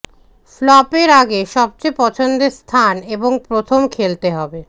ফ্লপের আগে সবচেয়ে পছন্দের স্থান এবং প্রথম খেলতে হবে